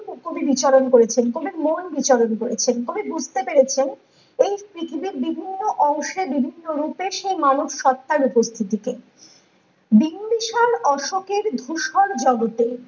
কবি বিচরণ করেছেন কবির মন বিচরণ করেছেন কবি বুঝতে পেরেছেন এই পৃথিবীর বিভিন্ন অংশে বিভিন্ন রূপে সে মানুষ সত্তার উপস্থিতি কে বিম্বিসার অশোকের ধূসর জগতে